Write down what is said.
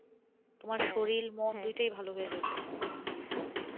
তোমার সোরিল মন দুইটাই ভালো হয়ে যাবে